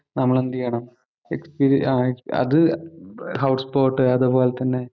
നമ്മള് എന്തു ചെയ്യണം. അത് എക്സ്പീരി ആ എക്സ് അത് ഹൗസ് ബോട്ട് അതുപോലെ തന്നെ.